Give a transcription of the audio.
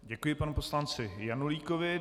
Děkuji panu poslanci Janulíkovi.